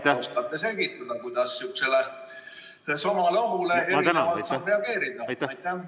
Kas oskate selgitada, kuidas samale ohule erinevalt saab reageerida?